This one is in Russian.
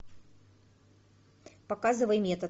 показывай метод